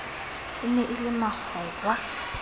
e ne e le makgowa